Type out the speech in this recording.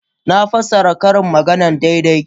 Na fassara ƙarin maganarsa daidai.